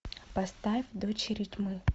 поставь дочери тьмы